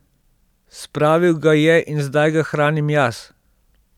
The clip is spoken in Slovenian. Spravil ga je in zdaj ga hranim jaz.